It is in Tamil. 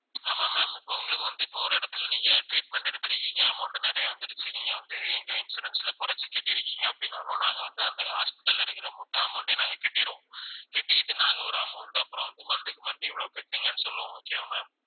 ஆமா ma'am இப்ப உங்களுக்கு வந்து இப்ப ஒரு இடத்துல நீங்க treatment எடுத்துருக்கீங்க amount நிறைய வந்துருச்சு நீங்க வந்து எங்க insurance ல குறைச்சு கட்டியிருக்கீங்க அப்படின்னாலும் நாங்க வந்து அந்த hospital ல இருக்கிற மொத்த amount யும் நாங்க கட்டிருவோம் கட்டிக்கிட்டு நாங்க ஒரு amount அப்புறம் வந்து monthly க்கு month இவ்வளவு கட்டுங்கன்னு சொல்லுவோம் okay வா ma'am